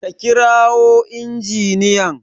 a kirawo injiniyan!